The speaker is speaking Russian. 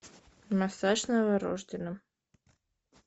массаж новорожденным